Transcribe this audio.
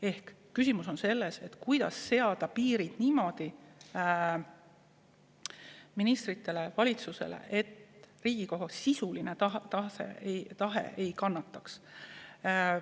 Ehk küsimus on selles, kuidas seada ministritele, valitsusele piirid niimoodi, et Riigikogu sisuline tahe ei kannataks.